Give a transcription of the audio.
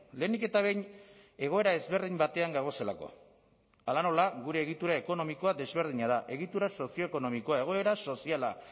lehenik eta behin egoera ezberdin batean gagozelako hala nola gure egitura ekonomikoa desberdina da egitura sozioekonomikoa egoera soziala